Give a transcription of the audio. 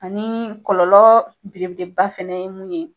Ani kɔlɔlɔ belebeleba fɛnɛ ye mun ye